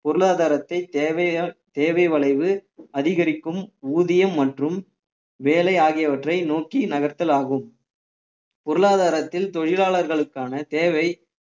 பொருளாதாரத்தை தேவையா தேவை வளைவு அதிகரிக்கும் ஊதியம் மற்றும் வேலை ஆகியவற்றை நோக்கி நகர்த்தல் ஆகும் பொருளாதாரத்தில் தொழிலாளர்களுக்கான தேவை